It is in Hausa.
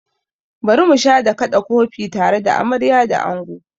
Bari musha da kaɗa kofi tare da amarya da ango!